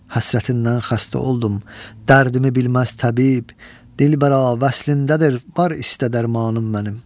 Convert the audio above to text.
Həsrətindən xəstə oldum, dərdimi bilməz təbib, dilbəra vəslindədir var istə darmanım mənim.